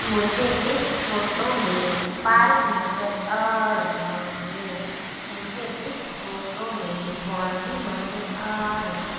मुझे इस फोटो में पार्क नजर आ रहा हैं मुझे इस फोटो में बाउंड्री नज़र आ रही --